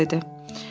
Mayor dedi.